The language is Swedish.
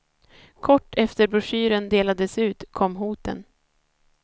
Kort efter broschyren delades ut kom hoten.